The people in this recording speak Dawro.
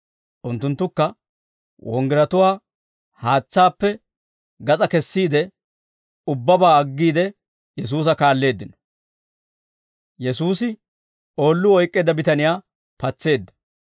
Unttunttukka wonggiratuwaa haatsaappe gas'aa kessiide, ubbabaa aggiide Yesuusa kaalleeddino.